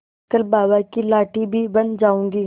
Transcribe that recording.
कल बाबा की लाठी भी बन जाऊंगी